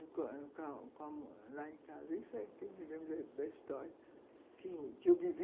lá em casa, isso me lembra da história que eu vivi.